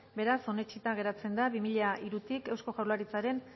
beraz onetsita geratzen da bi mila hirutik eusko jaurlaritzaren